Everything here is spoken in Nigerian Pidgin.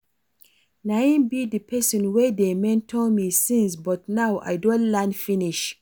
Na im be the person wey dey mentor me since but now I don learn finish